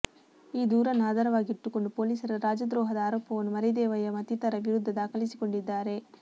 ಈ ದೂರನ್ನು ಆಧಾರವಾಗಿಟ್ಟುಕೊಂಡು ಪೊಲೀಸರ ರಾಜದ್ರೋಹದ ಆರೋಪವನ್ನು ಮರಿದೇವಯ್ಯ ಮತ್ತಿತರರ ವಿರುದ್ಧ ದಾಖಲಿಸಿಕೊಂಡಿದ್ದಾರೆ